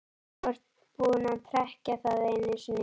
Þú ert búinn að trekkja það einu sinni.